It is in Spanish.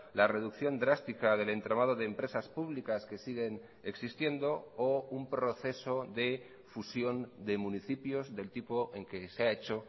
la reducción drástica del entramado de empresas públicas que siguen existiendo o un proceso de fusión de municipios del tipo en que se ha hecho